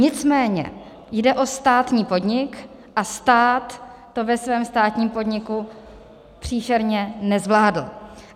Nicméně jde o státní podnik a stát to ve svém státním podniku příšerně nezvládl.